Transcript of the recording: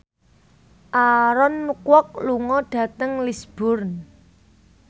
Aaron Kwok lunga dhateng Lisburn